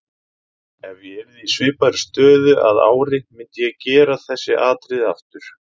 Ef ég yrði í svipaðri stöðu að ári myndi ég gera þessi atriði aftur.